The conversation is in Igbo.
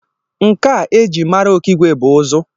Nka e ji mara Okigwe bụ ụzụ